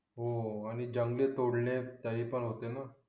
हो हो आणि जंगले तोडले तरी पण होते ना